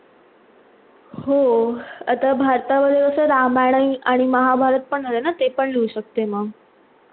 हो, आता भारता मध्ये कस रामायण आणि महाभारत पण होते ना ते पण लिहू शकते मग